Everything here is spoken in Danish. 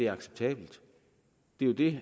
acceptabelt det er det